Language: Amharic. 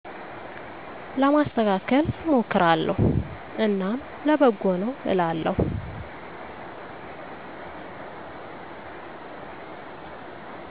ለማስተካከል እሞክራለሁ እናም ለበጎነው አላለሁ